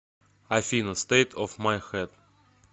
афина стэйт оф май хэд